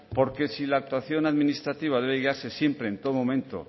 porque si la actuación administrativa debe guiarse siempre en todo momento